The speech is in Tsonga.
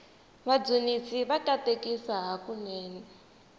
vadzunisi va katekisa hakunene